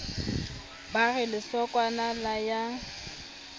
ba re lesokwana la ya